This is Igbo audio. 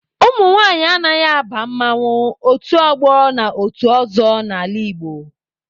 Ụmụnwaanyị anaghị aba mmanwụ, otu ọgbọ na otu ozo n'ala Igbo